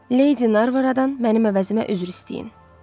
Lady Narvaradan mənim əvəzimə üzr istəyin.